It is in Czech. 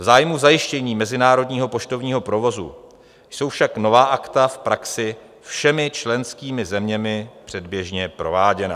V zájmu zajištění mezinárodního poštovního provozu jsou však nová Akta v praxi všemi členskými zeměmi předběžně prováděna.